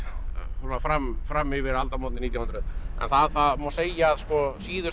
svona fram fram yfir aldamótin nítján hundruð en það má segja að síðustu